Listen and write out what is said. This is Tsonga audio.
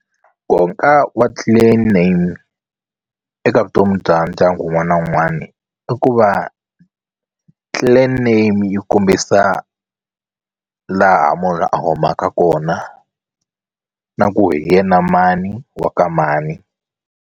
Nkoka wa clan name eka vutomi bya ndyangu wun'wana na wun'wana i ku va clan name yi kombisa laha munhu a humaka kona na ku hi yena mani wa ka mani.